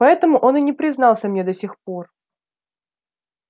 поэтому он и не признался мне до сих пор